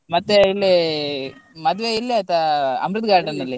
ಮತ್ತೆ ಇಲ್ಲಿ ಮದ್ವೆ ಇಲ್ಲೇ ಆಯ್ತಾ Amruth Garden ಅಲ್ಲಿ.